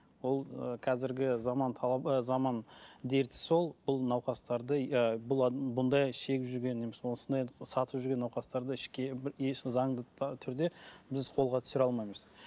ол ы қазіргі заман талабы ыыы заман дерті сол бұл науқастарды ыыы бұл бұндай шегіп жүрген немесе осындай сатып жүрген науқастарды еш заңды түрде біз қолға түсіре алмаймыз